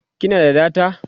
kina da data?